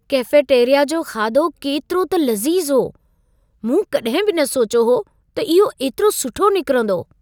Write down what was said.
Cafeteria जो खाधो केतिरो त लज़ीज़ु हो! मूं कॾहिं बि न सोचयो हो त इहो एतिरो सुठो निकरंदो!